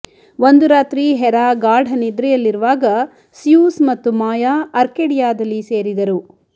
ಒಂದು ರಾತ್ರಿ ಹೆರಾ ಗಾಢನಿದ್ರೆಯಲ್ಲಿರುವಾಗ ಸ್ಯೂಸ್ ಮತ್ತು ಮಾಯಾ ಅರ್ಕೆಡಿಯಾದಲ್ಲಿ ಸೇರಿದರು